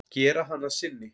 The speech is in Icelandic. Gera hana að sinni.